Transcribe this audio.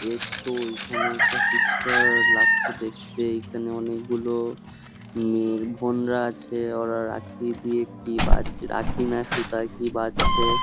এইতো এইখানে একটা সিস্টার লাগছে দেখতে এইখানে অনেকগুলো মেয়ের বোনরা আছে আর রাখি না সুতা কি বাঁধছে।